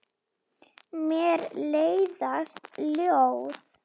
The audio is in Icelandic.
Mér leiðast ljóð.